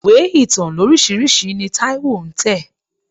Ìwé ìtàn lóríṣiríṣi ni Táíwó ń tẹ̀.